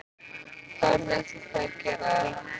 Hvernig ætlið þið að gera það?